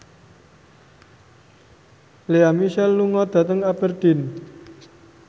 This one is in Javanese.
Lea Michele lunga dhateng Aberdeen